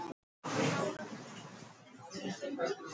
Magnþóra, hvað er í matinn?